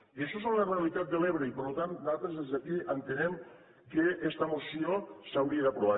i això és la realitat de l’ebre i per tant nosaltres des d’aquí entenem que esta moció s’hauria d’aprovar